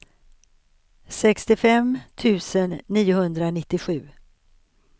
sextiofem tusen niohundranittiosju